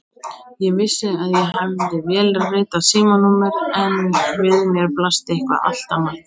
Ég vissi að ég hafði vélritað símanúmer en við mér blasti eitthvað allt annað.